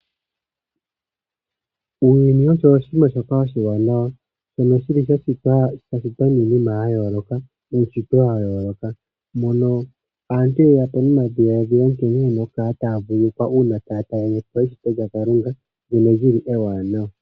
Uuyuni osho oshinima shoka oshiwanawa, shono shili shashitwa nuunshitwe wayooloka, mono aantu yeyapo nomadhiladhilo nkene yena okukala taya vululukwa, uuna taya talelepo eshito lyaKalunga, ndyono lyi li ewanawa.